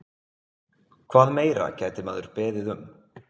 Hvað meira gæti maður beðið um?